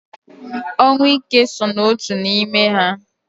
Ọnwụ ike so n'otu n'ime ha